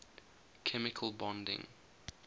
chemical bonding